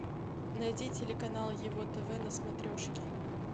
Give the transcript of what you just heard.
найди телеканал его тв на смотрешке